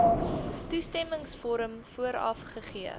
toestemmingsvorm vooraf gegee